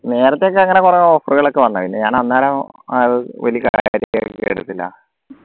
നേരത്തെ ഒക്കെ അങ്ങനെ പറഞ്ഞ offer കൾക്കെ വന്നു ഞാൻ പിന്നെ അന്നേരം